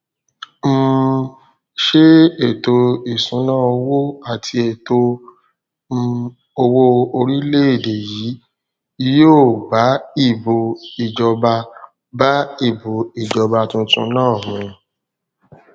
um ṣé ètò ìṣúnná owó àti ètò um owó orílẹèdè yìí yóò bá ìbò ìjọba bá ìbò ìjọba tuntun náà mu